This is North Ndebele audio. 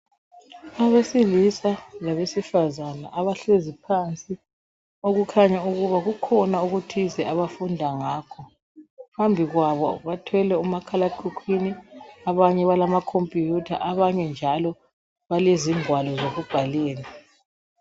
Abesilisa labesifazana abahlezi phansi okukhanya ukuba kukhona okuthize abafunda ngakho, phambi kwabo bathwele omakhalekhukhwini abanye balama Computer, abanye njalo balezingwalo zokubhalela.